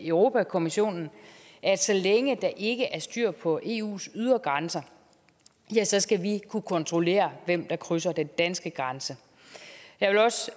europa kommissionen at så længe der ikke er styr på eus ydre grænser ja så skal vi kunne kontrollere hvem der krydser den danske grænse